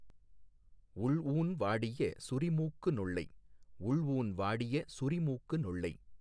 உள்ஊன் வாடிய சுரிமூக்கு நொள்ளை உள்ஊன் வாடிய சுரிமூக்கு நொள்ளை